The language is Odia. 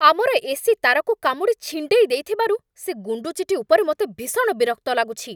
ଆମର ଏସି ତାରକୁ କାମୁଡ଼ି ଛିଣ୍ଡେଇ ଦେଇଥିବାରୁ ସେ ଗୁଣ୍ଡୁଚିଟି ଉପରେ ମୋତେ ଭୀଷଣ ବିରକ୍ତ ଲାଗୁଛି।